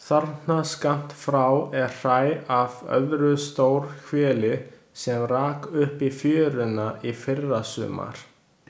Þarna skammt frá er hræ af öðru stórhveli sem rak upp í fjöruna í fyrrasumar.